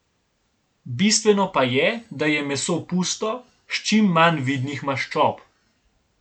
Bistveno pa je, da je meso pusto, s čim manj vidnih maščob.